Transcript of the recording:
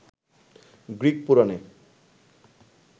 Greek পুরাণে